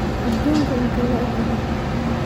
aduunka intee le'eg yahay